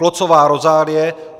Klocová Rozálie